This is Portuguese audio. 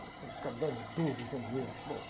Ficar dando duro, e sem dinheiro. Bom...